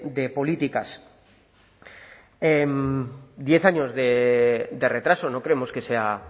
de políticas diez años de retraso no creemos que sea